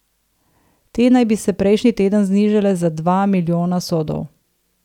Te naj bi se prejšnji teden znižale za dva milijona sodov.